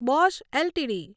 Bosch LTD